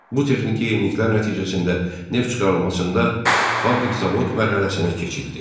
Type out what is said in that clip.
Bu texniki yeniliklər nəticəsində neft çıxarılmasında fabrik-zavod mərhələsinə keçildi.